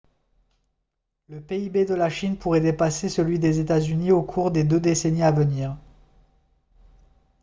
le pib de la chine pourrait dépasser celui des états-unis au cours des deux décennies à venir